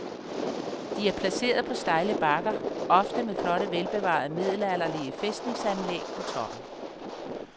De er placeret på stejle bakker, ofte med flotte velbevarede middelalderlige fæstningsanlæg på toppen.